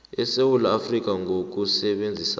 esewula afrika ngokusebenzisa